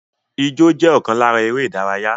Ijó jẹ́ ọ̀kan lára eré-ìdárayá